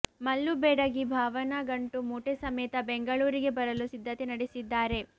ಮಲ್ಲು ಬೆಡಗಿ ಭಾವನಾ ಗಂಟು ಮೂಟೆ ಸಮೇತ ಬೆಂಗಳೂರಿಗೆ ಬರಲು ಸಿದ್ಧತೆ ನಡೆಸಿದ್ದಾರೆ